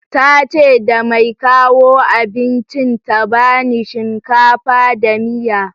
Tace da mai kawo abincin ta bani shinkafa da miya